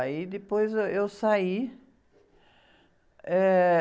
Aí depois, ãh, eu saí. Eh...